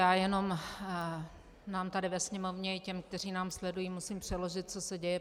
Já jenom nám tady ve Sněmovně i těm, kteří nás sledují, musím přeložit, co se děje.